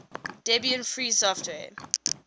debian free software